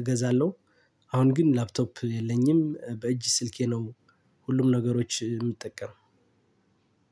እገዛለሁ። አሁን ግን ላፕቶፕ የለኝም በእጅ ስልኬ ነው። ሁሉም ነገሮች የምጠቀም